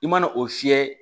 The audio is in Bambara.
I mana o fiyɛ